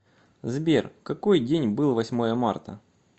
сбер какой день был восьмое марта